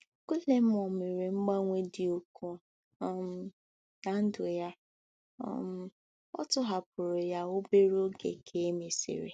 Guillermo mere mgbanwe dị ukwuu um ná ndụ ya, um a tọhapụrụ ya obere oge ka e mesịrị.